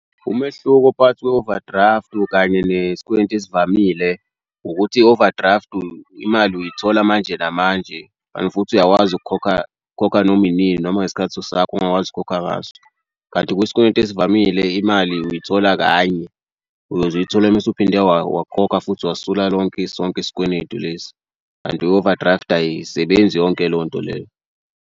Umehluko phakathi kwe-overdraft kanye nesikweletu ezivamile ukuthi i-overdraft imali uyithola manje namanje kanti futhi uyakwazi ukukhokha ukhokha noma inini noma ngesikhathi sakho ongakwazi ukukhokha ngaso kanti kwisikweletu ezivamile imali uyithola kanye. Uyoze uyithola uma usuphinde wakhokha futhi wasula lonke sonke isikweletu lesi. Kanti i-overdraft ayisebenzi yonke leyo nto leyo.